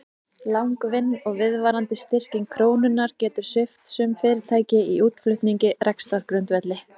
Langvinn og viðvarandi styrking krónunnar getur svipt sum fyrirtæki í útflutningi rekstrargrundvelli.